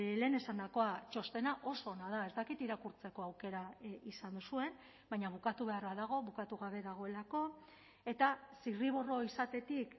lehen esandakoa txostena oso ona da ez dakit irakurtzeko aukera izan duzuen baina bukatu beharra dago bukatu gabe dagoelako eta zirriborro izatetik